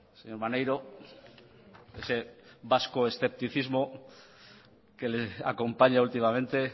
señor maneiro ese vasco escepticismo que le acompaña últimamente